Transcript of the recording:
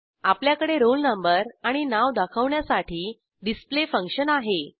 आपल्याकडे roll number आणि नाव दाखवण्यासाठी डिस्प्ले फंक्शन आहे